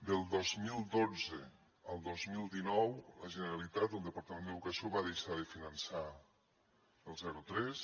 del dos mil dotze al dos mil dinou la generalitat el departament d’educació va deixar de finançar el zero tres